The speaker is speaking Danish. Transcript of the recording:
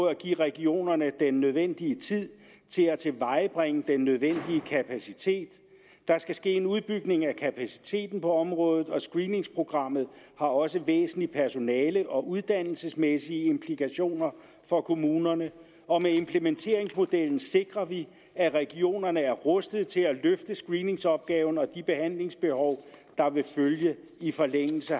at give regionerne den nødvendige tid til at tilvejebringe den nødvendige kapacitet der skal ske en udbygning af kapaciteten på området og screeningsprogrammet har også væsentlige personale og uddannelsesmæssige implikationer for kommunerne og med implementeringsmodellen sikrer vi at regionerne er rustede til at løfte screeningsopgaven og de behandlingsbehov der vil følge i forlængelse